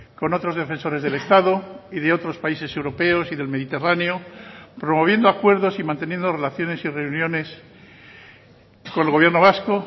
con otros defensores del estado y de otros países europeos y del mediterráneo promoviendo acuerdos y manteniendo relaciones y reuniones con el gobierno vasco